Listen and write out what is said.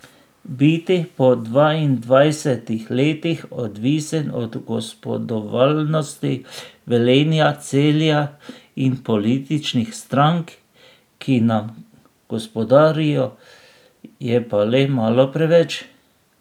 Biti po dvaindvajsetih letih odvisen od gospodovalnosti Velenja, Celja in političnih strank, ki nam gospodarijo, je pa le malo preveč.